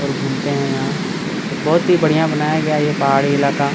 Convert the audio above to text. और घूमते है यहाँ बहुत ही बढ़िया बनाया गया है ये पहाड़ी इलाका --